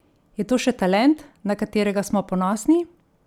Je to še talent, na katerega smo ponosni?